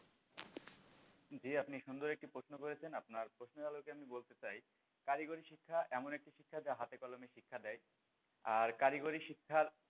জি আপনি সুন্দর একটি সুন্দর প্রশ্ন করেছেন আপনার প্রশ্নের আলোকে আমি বলতে চাই কারিগরি শিক্ষা এমন একটি শিক্ষা যা হাতে কলমে শিক্ষা দেয় আর কারিগরি শিক্ষার,